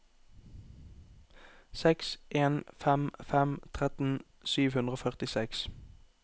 seks en fem fem tretten sju hundre og førtiseks